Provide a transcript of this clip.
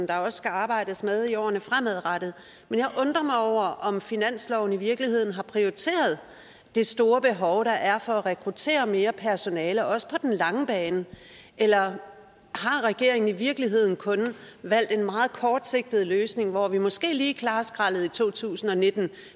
der også skal arbejdes med i årene fremadrettet jeg undrer mig over om finansloven i virkeligheden har prioriteret det store behov der er for at rekruttere mere personale også på den lange bane eller har regeringen i virkeligheden kun valgt en meget kortsigtet løsning hvor vi måske lige klarer skraldet i to tusind og nitten